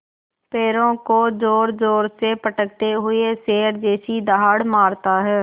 पैरों को ज़ोरज़ोर से पटकते हुए शेर जैसी दहाड़ मारता है